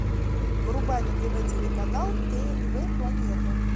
врубай на тв телеканал тнв планета